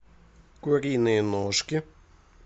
куриные ножки